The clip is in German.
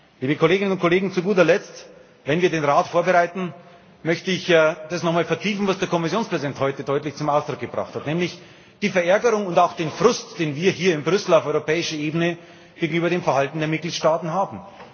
Liebe Kolleginnen und Kollegen, zu guter Letzt, wenn wir den Rat vorbereiten, möchte ich nochmal vertiefen, was der Kommissionspräsident heute deutlich zum Ausdruck gebracht hat, nämlich die Verärgerung und auch den Frust, den wir hier in Brüssel auf europäischer Ebene gegenüber dem Verhalten der Mitgliedstaaten haben.